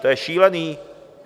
To je šílený!